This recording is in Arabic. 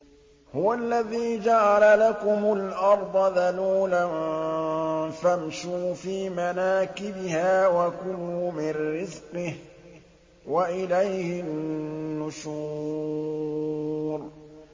هُوَ الَّذِي جَعَلَ لَكُمُ الْأَرْضَ ذَلُولًا فَامْشُوا فِي مَنَاكِبِهَا وَكُلُوا مِن رِّزْقِهِ ۖ وَإِلَيْهِ النُّشُورُ